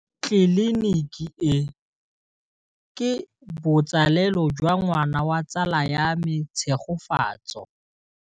Tleliniki e, ke botsalêlô jwa ngwana wa tsala ya me Tshegofatso.